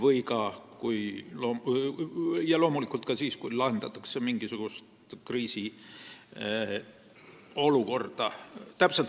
Seda põhiliselt õppustel, aga loomulikult ka siis, kui lahendatakse mingisugust kriisiolukorda.